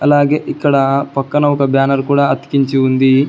అలాగే ఇక్కడ పక్కన ఒక బ్యానర్ కూడ అతికించి ఉంది.